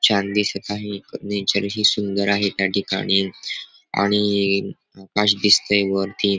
छान दिसत आहे नेचर हि सुंदर आहे त्याठिकाणी आणि आकाश दिसतय वरती.